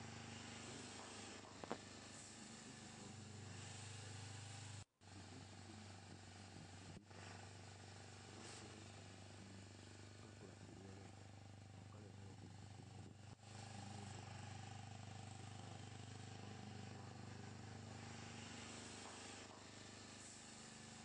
Ũndũ ũyũ nĩ ũcenjetie mũno tondũ thikũ ici to nginya ũthiĩ matuka-inĩ. Thikũ ici kwĩna nenda cia intaneti, ũraingĩra intaneti-inĩ ũkagũra kĩrĩa ũrenda na ũkareherwo nginya harĩa ũrĩ. Nĩ mũndũ wa ndũthi kana tũkari ona mũndũ wa magũrũ nĩ ũrareherwo nginya harĩa ũrĩ.